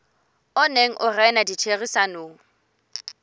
o neng o rena ditherisanong